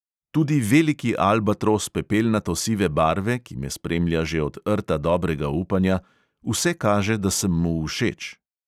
Tudi veliki albatros pepelnato sive barve, ki me spremlja že od rta dobrega upanja; vse kaže, da sem mu všeč.